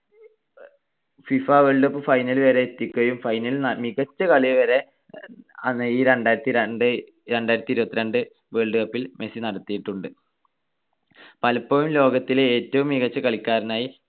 FIFA World Cup final വരെ എത്തിയപ്പഴും final ൽ മികച്ച കളി വരെ രണ്ടായിരത്തിരണ്ട്‌ ~ രണ്ടായിരത്തിഇരുപത്തിരണ്ട് world cup ൽ മെസ്സി നടത്തിയിട്ടുണ്ട്. പലപ്പോഴും ലോകത്തിലെ ഏറ്റവും മികച്ച കളിക്കാരനായി